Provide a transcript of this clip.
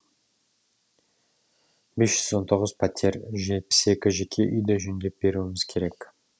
бес жүз он тоғыз пәтер жетпіс екі жеке үйді жөндеп беруіміз керек